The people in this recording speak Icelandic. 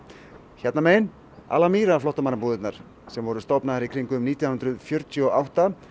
hérna megin Al flóttamannabúðirnar sem voru stofnaðar nítján hundruð fjörutíu og átta